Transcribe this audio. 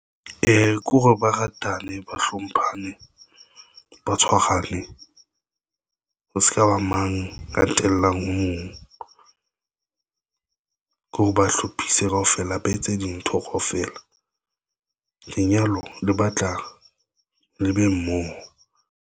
Ke hore ba ratane, ba hlomphane, ba tshwarane ho se ka ba mang, ka tellang O mong ke hore ba hlophise kaofela ba etse dintho kaofela, lenyalo le batla le be mmoho.